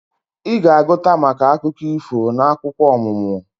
Ị ga-agụta maka akụkọ ifo n'akwụkwọ ọmụmụ